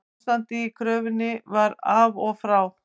Ástandið í körfunni var af og frá